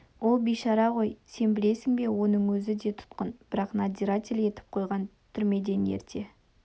ол бейшара ғой сен білесің бе оның өзі де тұтқын бірақ надзиратель етіп қойған түрмеден ерте